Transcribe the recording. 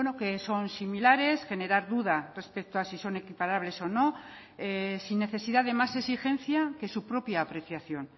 que son similares generar duda respecto a si son equiparables o no sin necesidad de más exigencia que su propia apreciación